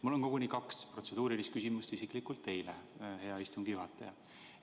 Mul on koguni kaks protseduurilist küsimust, mõlemad isiklikult teile, hea istungi juhataja.